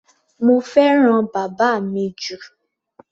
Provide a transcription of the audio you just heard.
Mo fẹ́ràn bàbá mi jù.